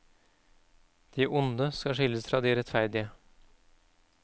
De onde skal skilles fra de rettferdige.